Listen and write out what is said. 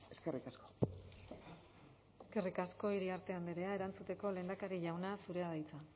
eskerrik asko eskerrik asko iriarte andrea erantzuteko lehendakari jauna zurea da hitza